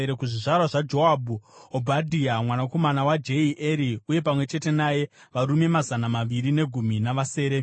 kuzvizvarwa zvaJoabhu, Obhadhia mwanakomana waJehieri, uye pamwe chete naye varume mazana maviri negumi navasere;